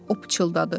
O pıçıldadı.